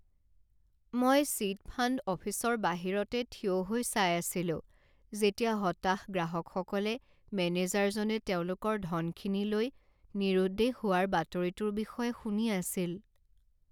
মই chit fund অফিচৰ বাহিৰতে থিয় হৈ চাই আছিলো যেতিয়া হতাশ গ্ৰাহকসকলে মেনেজাৰজনে তেওঁলোকৰ ধনখিনি লৈ নিৰুদ্দেশ হোৱাৰ বাতৰিটোৰ বিষয়ে শুনি আছিল।